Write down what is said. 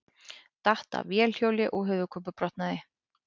Datt af vélhjóli og höfuðkúpubrotnaði